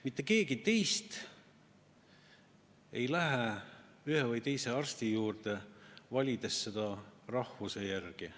Mitte keegi teist ei lähe ühe või teise arsti juurde, valides teda rahvuse järgi.